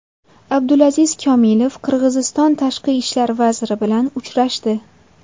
Abdulaziz Komilov Qirg‘iziston tashqi ishlar vaziri bilan uchrashdi.